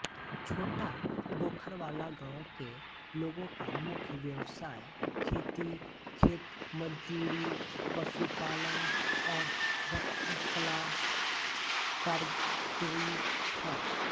छोटा गोखरवाला गाँव के लोगों का मुख्य व्यवसाय खेती खेतमजूरी पशुपालन और रत्नकला कारीगरी है